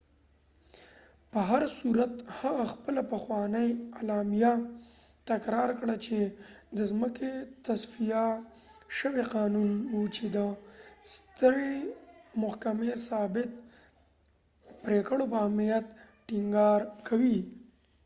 په هرصورت هغه خپله پخوانۍ اعلامیه تکرار کړه چې roe v wade د ځمکې تصفیه شوی قانون و چې د سترې محکمې ثابت پریکړو پر اهمیت ټینګار کوي